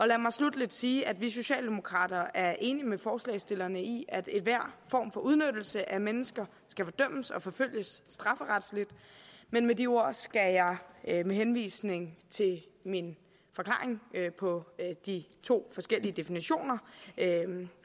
lad mig sluttelig sige at vi socialdemokrater er enige med forslagsstillerne i at enhver form for udnyttelse af mennesker skal fordømmes og forfølges strafferetligt men med de ord skal jeg med henvisning til min forklaring på de to forskellige definitioner